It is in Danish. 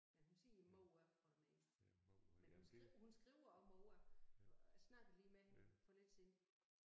Men hun siger mor for det meste men hun hun skriver også mor jeg snakkede lige med hende for lidt siden